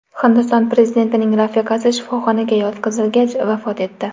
Hindiston prezidentining rafiqasi shifoxonaga yotqizilgach, vafot etdi.